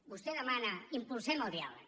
vostè demana impulsem el diàleg